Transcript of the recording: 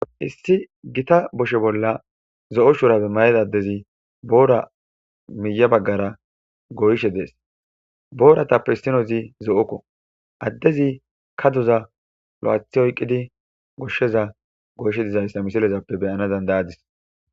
Issi gita boshe bolla zo'o shurabe mayeda addezi boora miya baggara goyshe dees booratappe hissinozi zo7okko addezi ka doza lo7athi oyqqidi goshsheza goyshe dizayssa misilezappe beyana dandayadis.